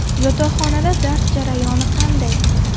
Yotoqxonada dars jarayoni qanday?